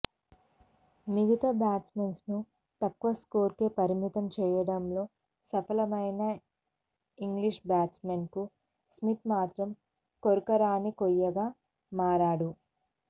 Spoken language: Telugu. మిగతా బ్యాట్స్మెన్ను తక్కువ స్కోరుకే పరిమితం చేయడంలో సఫలమైన ఇంగ్లీష్ బౌలర్లకు స్మిత్ మాత్రం కొరకరాని కొయ్యాగా మారాడు